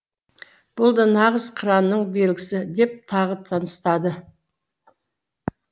бұл да нағыз қыранның белгісі деп тағы тыныстады